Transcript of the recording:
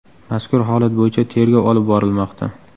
Mazkur holat bo‘yicha tergov olib borilmoqda.